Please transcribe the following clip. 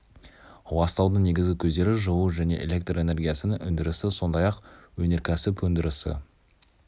ластаудың негізгі көздері-жылу және электр энергиясының өндірісі сондай-ақ өнеркәсіп өндірісі